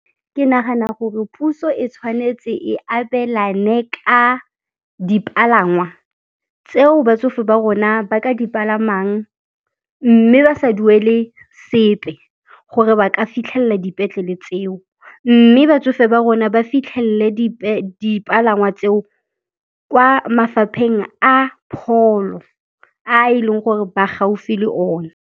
Ke nagana gore puso e tshwanetse e abelane ka dipalangwa tseo batsofe ba rona ba ka dipalamang mme ba sa duele sepe gore ba ka fitlhelela dipetlele tseo, mme batsofe ba rona ba fitlhelele dipalangwa tseo kwa mafapheng a pholo a e leng gore ba gaufi le one.